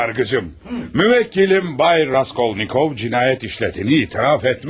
Sayın Yargıcım, müvekkilim Bay Raskolnikov cinayet işlediğini itiraf etmiştir.